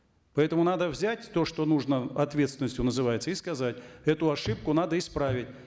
поэтому надо взять то что нужно ответственностью называется и сказать эту ошибку надо исправить